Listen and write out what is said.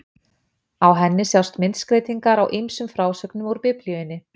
Á henni sjást myndskreytingar á ýmsum frásögnum úr Biblíunni.